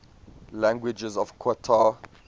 languages of qatar